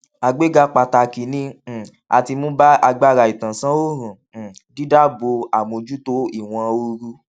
àgbéga pàtàkì ni um a ti mú bá agbára ìtànsánòòrùn um dídáàbò àmójútó ìwọnoorù